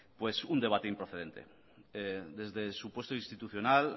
un debate improcedente desde su puesto institucional